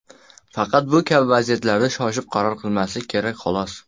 Faqat bu kabi vaziyatlarda shoshib qaror qilmaslik kerak, xolos.